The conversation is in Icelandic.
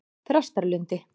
Þrastarlundi